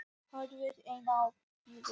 Horfir enn á brjóstin.